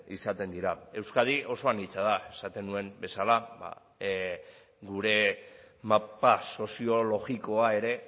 izaten dira euskadi oso anitza da esaten nuen bezala gure mapa soziologikoa ere